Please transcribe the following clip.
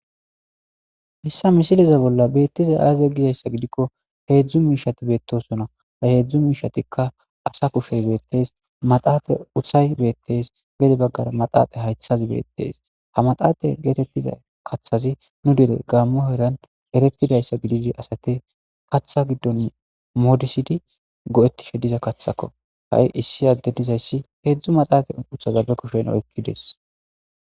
hissa misileza bolla beettiza aazee gizayssa gidikko heedzdzu miishati beettosona ha heedzdzu miishatikka asa kushey beettees ,maxaafe uthay beettees ,gede baggara maxaaxa haythazi beettees ha maxaaxa geetettiza kathazi nu dere gaammo heran eretidayssa gididi asata katha giddon moodisidi go7ettishe diza kathako ha7i issi adde dizayssi heedzdzu maxaafe uthazappe kushen oykkides